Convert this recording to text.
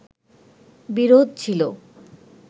বিরোধ ছিলো